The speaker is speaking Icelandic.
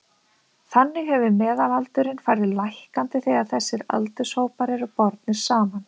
þannig hefur meðalaldurinn farið lækkandi þegar þessir aldurshópar eru bornir saman